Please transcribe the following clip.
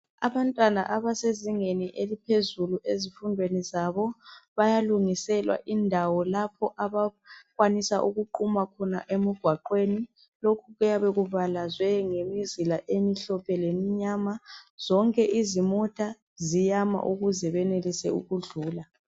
Abantwana abasezingeni eliphezulu ezifundweni zabo bayalungiselwa indawo lapho abakwanisa ukuquma khona emgwaqweni lokhu kuyabe kubalazwe ngemizila emhlophe lemnyama zonke izimota ziyama ukuze benelise ukudlula.